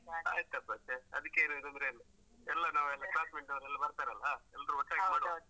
ಆಯ್ತಪ್ಪ ಸೇ ಅದಕ್ಕೇನು ತೊಂದ್ರೆ ಇಲ್ಲ ಎಲ್ಲ ನಾವೆಲ್ಲ classmate ನವರೆಲ್ಲ ಬರ್ತಾರಲ್ಲ ಒಟ್ಟಾಗಿ ಮಾಡುವ.